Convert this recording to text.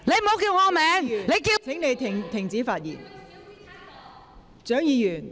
蔣議員，請你停止發言。